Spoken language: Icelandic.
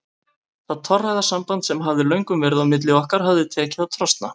Það torræða samband sem hafði löngum verið á milli okkar var tekið að trosna.